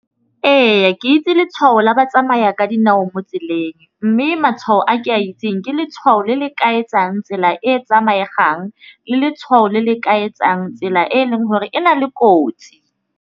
Ee, ke itse letšhwao la batsamaya ka dinao mo tseleng, mme matšhwao a ke a itseng ke letšhwao le le ka etsang tsela e e tsamaegang le letšhwao le le ka etsang tsela e eleng gore e na le kotsi.